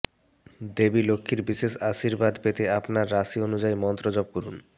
দেবী লক্ষ্মীর বিশেষ আশীর্বাদ পেতে আপনার রাশি অনুযায়ী মন্ত্র জপ করুন